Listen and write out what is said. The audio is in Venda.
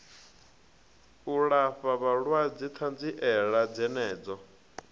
u alafha vhalwadze ṱanziela dzenedzo